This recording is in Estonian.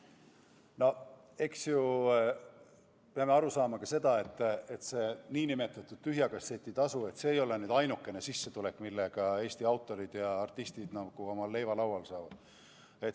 No eks me peame aru saama ka sellest, et see nn tühja kasseti tasu ei ole ainukene sissetulek, millega Eesti autorid ja artistid omale leiva lauale saavad.